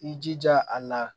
I jija a la